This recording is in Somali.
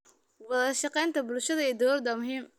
Wadashaqeynta bulshada iyo dowladda waa muhiim.